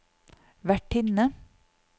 vertinne